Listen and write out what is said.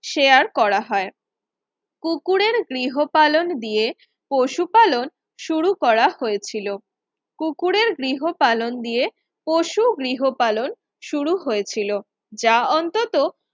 share করা হয় পুকুরের গৃহপালন দিয়ে পশু পালন শুরু করা হয়েছিল পুকুরের গৃহপালন দিয়ে পশু গৃহপালন শুরু হয়েছিল যা অন্তত